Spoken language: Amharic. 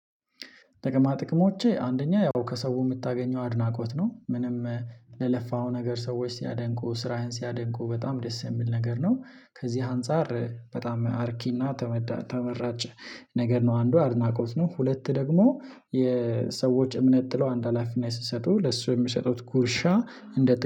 ጥቅማ ጥቅሞቼ አንደኛ ያው ከሰው የምታገኘው አድናቆት ነው ምንም ለለፋው ነገር ሰዎች ሲያደንቁ ስራህን ሲያደንቁ በጣም ደስ የሚል ነገር ነው። ከዚህ አንፃር በጣም አርኪና ተመራጨ ነገር ነው። አንዱ አድናቆት ነው ሁለት ደግሞ የሰዎች እምነት ጥለው አንድ ሀላፊና ስትሰጡ ለሱ የሚሰጡት ጉርሻ እንደ